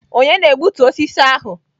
Ònye na-egbutu osisi ahụ?